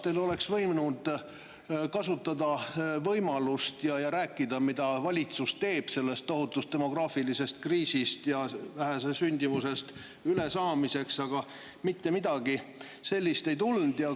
Te oleksite võinud kasutada võimalust ja rääkida sellest, mida teeb valitsus sellest tohutust demograafilisest kriisist ja väikesest sündimusest ülesaamiseks, aga mitte midagi sellist ei tulnud.